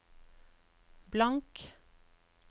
blank